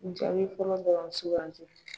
Jaabi fɔlɔ bɔrɔn suganti .